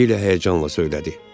Dilya həyəcanla söylədi.